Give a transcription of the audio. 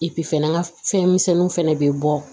fɛnɛ n ka fɛnmisɛnninw fɛnɛ bɛ bɔ